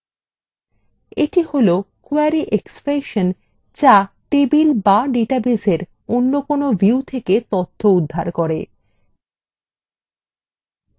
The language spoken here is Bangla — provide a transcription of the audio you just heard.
এটা হল query expression যা টেবিল বা ডেটাবেসএর অন্য কোনো views থেকে তথ্য উদ্ধার করে